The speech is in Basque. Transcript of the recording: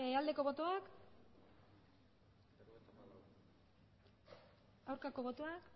aldeko botoak aurkako botoak